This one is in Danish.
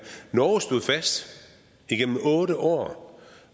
norge stod fast igennem otte år